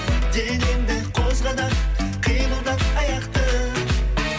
денеңді қозға да қимылдат аяқты